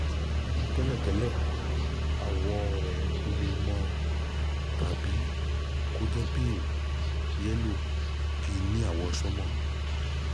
tẹ́lẹ̀ tẹ́lẹ̀ àwọ̀ rẹ̀ le mọ́ tàbí kó jẹ́ pale yẹ́lò kìí ní àwọ̀ sánmà